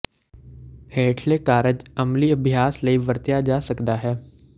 ਹੇਠਲੇ ਕਾਰਜ ਅਮਲੀ ਅਭਿਆਸ ਲਈ ਵਰਤਿਆ ਜਾ ਸਕਦਾ ਹੈ